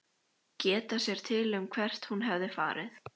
Geta sér til um hvert hún hefði farið.